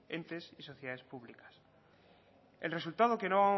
entes y sociedad públicas el resultado que no